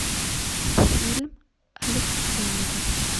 фильм александр